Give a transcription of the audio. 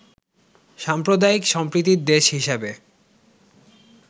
সাম্প্রদায়িক সম্প্রীতির দেশ হিসেবে